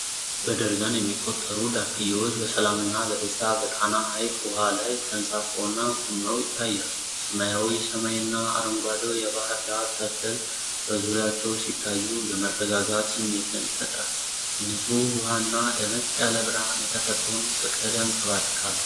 በደርዘን የሚቆጠሩ ዳክዬዎች በሰላም እና በደስታ በጠራ ሐይቅ ውሃ ላይ ተንሳፈውና ቆመው ይታያሉ። ሰማያዊው ሰማይ እና አረንጓዴው የባህር ዳር ተክል በዙሪያቸው ሲታዩ የመረጋጋት ስሜትን ይፈጥራል። ንጹህ ውሃና ደመቅ ያለ ብርሃን የተፈጥሮን ፍቅር ያንጸባርቃሉ።